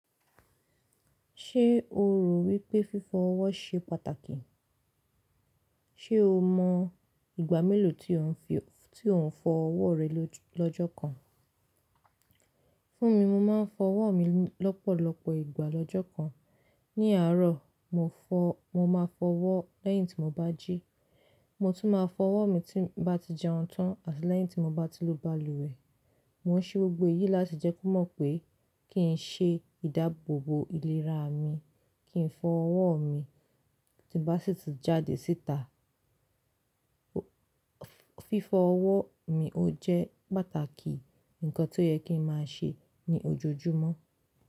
Ṣé o rò wípẹ́ fífọ ọwọ́ ṣe pàtàkì? Ṣé o mọ̀ ìgbà mélòó tí ò ń fọ ọwọ́ rẹ lọ́jọ́ kan? Fún mi, mo máa ń fọ ọwọ́ mi lọ́pọ̀lọpọ̀ ìgbà lọ́jọ́ kan. Ní àárọ̀, mo máa fọ ọwọ́ lẹ́yìn tí mo bá jí. Mo tún máa fọ ọwọ́ mi tí mo bá ti jẹun tan, àti lẹ́yìn tí mo bá ti lo baluwẹ̀. Mo ń ṣe gbogbo èyí láti jẹ́ kí o mọ̀ pé kì í ṣe ìdábòòbò ìlera mi kí ń fọ ọwọ́ mi ti n bá ṣì tún jáde síta. Fífọ ọwọ́ mi o jẹ́ pàtàkì nǹkan tí ó yẹ kí n máa ṣe ní ojoojúmọ́.